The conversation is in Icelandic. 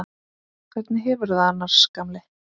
Hvernig hefurðu það annars, gamli?